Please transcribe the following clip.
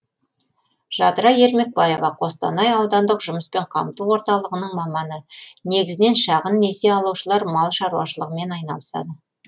жадыра ермекбаева қостанай аудандық жұмыспен қамту орталығының маманы негізінен шағын несие алушылар мал шаруашылығымен айналысады